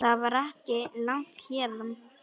Það er ekki langt héðan.